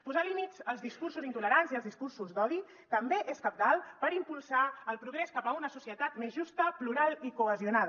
posar límits als discursos intolerants i als discursos d’odi també és cabdal per impulsar el progrés cap a una societat més justa plural i cohesionada